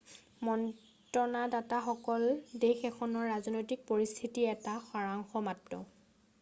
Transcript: মন্ত্ৰণাদাতাসকল দেশ এখনৰ ৰাজনৈতিক পৰিস্থিতিৰ এটা সাৰাংশ মাত্ৰ